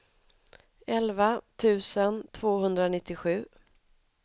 elva tusen tvåhundranittiosju